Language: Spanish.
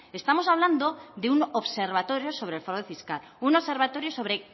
estamos hablando de un observatorio sobre el fraude fiscal un observatorio sobre